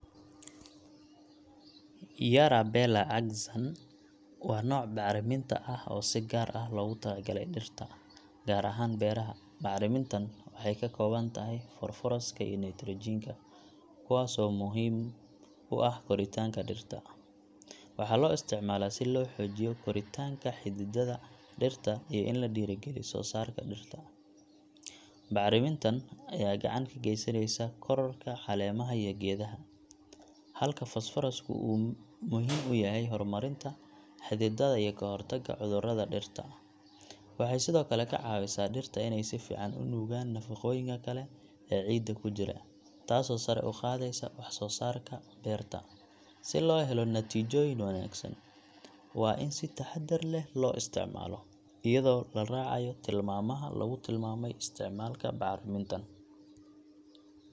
Yara Bela AXAN waa nooc bacriminta ah oo si gaar ah loogu talagalay dhirta, gaar ahaan beeraha. Bacrimintan waxay ka kooban tahay fosfooraska iyo nitrogen ka, kuwaasoo muhiim u ah koritaanka dhirta. Waxaa loo isticmaalaa si loo xoojiyo koritaanka xididdada dhirta iyo in la dhiirrigeliyo soosaarka dhirta. Bacrimintan ayaa gacan ka geysanaya kororka caleemaha iyo geedaha, halka fosfoorasku uu muhiim u yahay horumarinta xididdada iyo ka hortagga cudurrada dhirta. Waxay sidoo kale ka caawisaa dhirta inay si fiican u nuugaan nafaqooyinka kale ee ciidda ku jira, taasoo sare u qaadaysa wax-soo-saarka beerta. Si loo helo natiijooyin wanaagsan, waa in si taxaddar leh loo isticmaalo, iyadoo la raacayo tilmaamaha lagu tilmaamay isticmaalka bacrimintan.